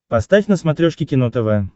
поставь на смотрешке кино тв